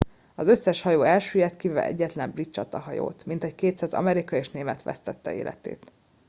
az összes hajó elsüllyedt kivéve egyetlen brit csatahajót mintegy 200 amerikai és német vesztette életét